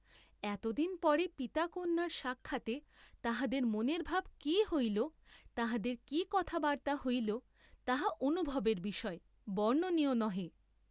এতদিন পরে পিতা কন্যার সাক্ষাতে তাহাদের মনের ভাব কি হইল, তাহাদের কি কথা বার্ত্তা হইল তাহা অনুভবের বিষয়, বর্ণনীয় নহে।